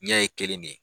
Ɲɛ ye kelen de ye